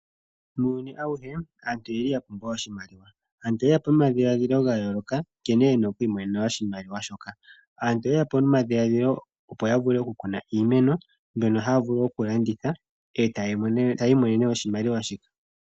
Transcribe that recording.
Muuyuni auhe aantu oyeli ya pumbwa oshimaliwa. Aantu oyeya po nomadhiladhilo ga yooloka nkene ye na okwiimonena oshimaliwa shoka. Aantu oyeya po nomadhilaadhilo opo ya vule oku kuna iimeno mbyono haya vulu oku landitha etaya i monene oshimaliwa shika.